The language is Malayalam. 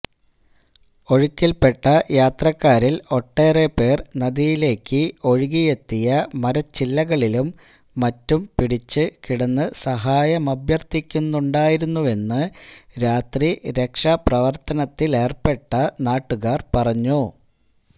ഒഴുക്കിൽപ്പെട്ട യാത്രക്കാരിൽ ഒട്ടേറെപ്പേർ നദിയിലേക്ക് ഒഴുകിയെത്തിയ മരച്ചില്ലകളിലും മറ്റും പിടിച്ച് കിടന്ന് സഹായമഭ്യർഥിക്കുന്നുണ്ടായിരുന്നുവെന്ന് രാത്രി രക്ഷാപ്രവർത്തനത്തിലേർപ്പെട്ട നാട്ടുകാർ പറഞ്ഞു